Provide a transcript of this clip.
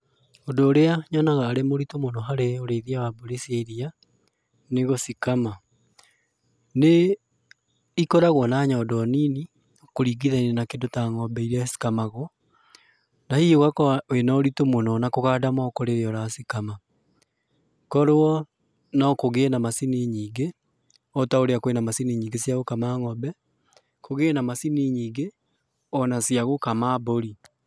Ũndũ ũrĩa nyonaga arĩ mũritũ mũno harĩ ũrĩithia wa mbũri cia iria nĩgũcikama. Nĩ ikoragwo na nyondo nini kũringithania na kĩndũ ta ng'ombe irĩa cikamagwo na hihi ũgakora wĩ na ũritũ mũno na kũganda moko rĩrĩa ũracikama. Korwo no kũgĩe na macini nyingĩ o ta ũrĩa kwĩ na macini nyingĩ cia gũkama ng'ombe, kũgĩe na macini nyingĩ o na cia gũkama mbũri.